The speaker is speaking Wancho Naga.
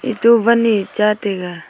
eto wan e cha taiga.